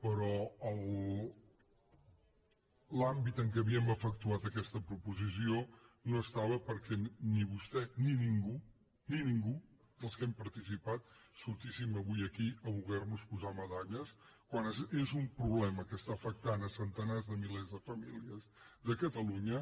però l’àmbit en què havíem efectuat aquesta proposició no estava perquè ni vostè ni ningú ni ningú dels que hem participat sortíssim avui aquí a voler nos posar medalles quan és un problema que afecta centenars de milers de famílies de catalunya